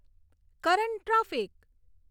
current traffic